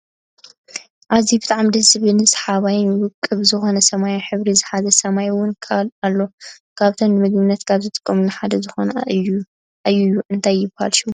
ኣዝዩ ብጣዕሚ ደስ ዝብል ስሓባይን ውቅብ ዝኮነ ሰማያዊ ሕብሪ ዝሓዘ ሰማይ እውን ኣሎ ካብቶም ንምግብነት ካብ ዝጠቅሙ ሓደ ዝኮነ እየዩ እንታይ ይብሃል ሽሙ?